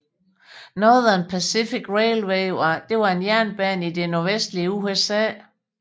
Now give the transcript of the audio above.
Northern Pacific Railway var en jernbane i det nordvestlige USA